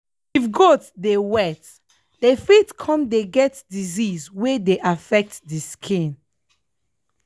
if goat dey wet dem fit come dey get disease wey dey affect the skin.